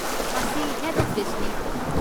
ꯃꯁꯤ ꯍꯦꯗ ꯑꯣꯐꯤꯁꯅꯤ꯫